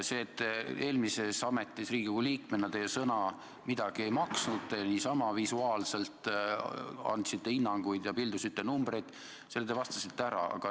Selle, et eelmises ametis Riigikogu liikmena teie sõna midagi ei maksnud ning te andsite niisama visuaalselt hinnanguid ja pildusite numbreid, te vastasite ära.